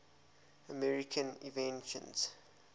american inventions